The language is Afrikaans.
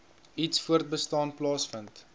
iets voortbestaan plaasvind